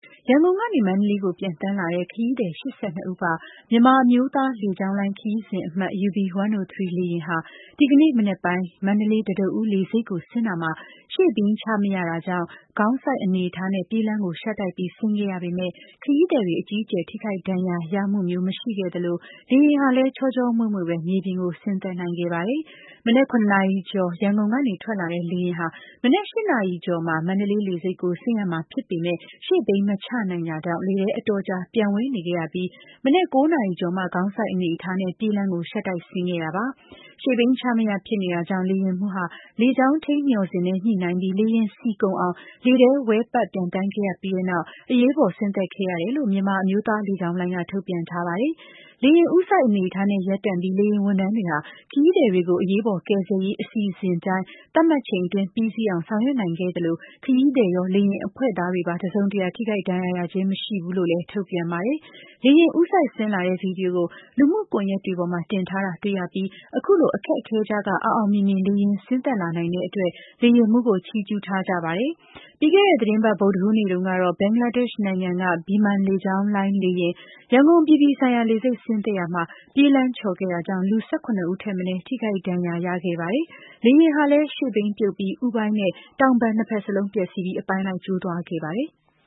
ရန်ကုန်ကနေ မန္တလေးကို ပျံသန်းလာတဲ့ ခရီးသည် ၈၂ ဦးပါ မြန်မာအမျိုးသားလေကြောင်းလိုင်း Embraer E 190 လေယာဉ်ဟာ ဒီနေ့ မနက်ပိုင်း မန္တလေး တံတားဦး လေဆိပ်ကိုဆင်းရာမှာ ရှေ့ဘီးချမရတာကြောင့်၊ ခေါင်းစိုက်အနေအထားနဲ့ ပြေးလမ်းရှပ်တိုက်ပြီး ဆင်းခဲ့ရမယ့် ခရီးသည်တွေအကြီးအကျယ်ထိခိုက်ဒဏ်ရာရမှုမျိုးမရှိခဲ့သလို လေယာဉ်ဟာလည်း ချောချောမွေမွေပဲ မြေပြင်ကို ဆင်းသက်နိုင်ခဲ့ပါတယ်။ မနက် ၇နာရီကျော်က ရန်ကုန်ကနေထွက်လာတဲ့ လေယာဉ်ဟာ မနက် ၈ နာရီကျော်မှာ မန္တလေးလေဆိပ်ကို ဆင်းရမှာဖြစ်ပေမယ့်၊ ရှေ့ဘီးမချနိုင်တာကြောင့် လေထဲ အတော်ကြာ ပျံဝဲနေခဲ့ရပြီး မနက် ၉ နာရီကျော်မှ ခေါင်းစိုက်အနေအထားနဲ့ ပြေးလမ်းကို ရှပ်တိုက်ဆင်းခဲ့ရတာပါ။ Nose Landing Gear ရှေ့ဘီးချမရဖြစ်နေတာကြောင့် လေယာဉ်မှူးဟာ လေကြောင်းထိန်းမျှော်စင်နဲ့ညှိုနှိုင်းပြီး၊ လေယာဉ်ဆီကုန်အောင် လေထဲ ဝဲပတ်ပျံသန်းခဲ့ရပြီးနောက်၊ အရေးပေါ်ဆင်းသက်ခဲ့ရတယ်လို့ မြန်မာအမျိုးသားလေကြောင်းလိုင်းက ထုတ်ပြန်ထားပါတယ်။ လေယာဉ်ဦးစိုက်အနေအထားနဲ့ ရပ်တန့်ပြီး၊ လေယာဉ်ဝန်ထမ်းတွေဟာ ခရီးသည်တွေကို အရေးပေါ်ကယ်ဆယ်ရေးအစီအစဉ်အတိုင်း သတ်မှတ်ချိန်အတွင်း ပြီးစီးအောင် ဆောင်ရွက်နိုင်ခဲ့သလို၊ ခရီးသည်ရော လေယာဉ်အဖွဲ့သားတွေပါ တစုံတရာ ထိခိုက်ဒဏ်ရာရခြင်းမရှိဘူးလို့လည်း ထုတ်ပြန်ပါတယ်။ လေယာဉ် ဦးစိုက်ဆင်းလာတဲ့ ဗွီဒီယိုကို လူမှုကွန်ယက်တွေပေါ်မှာ တင်ထားတာ တွေ့ကြရပြီး၊ အခုလို အခက်အခဲကြားက အောင်အောင်မြင်မြင် လေယာဉ်ဆင်းလာနိုင်တဲ့အတွက်လည်း လေယာဉ်မှုးကို ချီးကျူးထားကြပါတယ်။ ပြီးခဲ့တဲ့သီတင်းပတ် ဗုဒ္ဓဟူးနေ့တုန်းကတော့ ဘင်္ဂလားဒေ့ရှ် နိုင်ငံက Biman လေကြောင်းလိုင်းလေယာဉ် ရန်ကုန်အပြည်ပြည်ဆိုင်ရာ လေဆိပ် ဆင်းသက်ရာမှာတော့ ပြေးလမ်းချော်ခဲ့တာကြောင့် လူ ၁၇ ဦးထက်မနည်း ထိခိုက်ဒဏ်ရာရမှုဖြစ်ခဲ့ပါတယ်။ လေယာဉ်ဟာလည်း ရှေ့ဘီးပြုတ်ပြီး ဦးပိုင်းနဲ့ တောင်ပံနှစ်ဖက်စလုံး ပျက်စီးသွားခဲ့ပါတယ်။